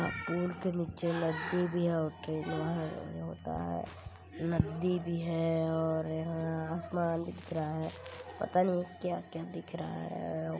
Pool के नीचे नदी भी है और ट्रेनवा है एहे होता है नद्दी भी है और यहाँ आसमान भी दिख रहा है पता नहीं क्या-क्या दिख रहा है।